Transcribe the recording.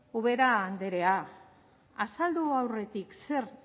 ubera andrea azaldu aurretik zer